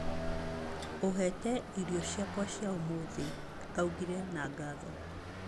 Ũhete irio ciakwa cia ũmũthĩ, augire na ngatho.